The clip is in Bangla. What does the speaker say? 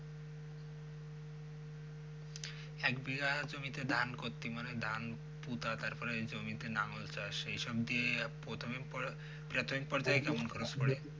এক বিঘা জমিতে ধান করতি মানে ধান পুঁতা তারপর ওই জমিতে লাঙ্গল চাষ এইসব দিয়ে প্রথমের পর্যায়, প্রাথমিক পর্যায় কেমন চাষ করে?